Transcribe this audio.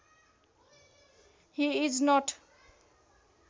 he is not